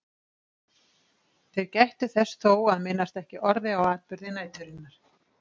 Þeir gættu þess þó að minnast ekki orði á atburði næturinnar.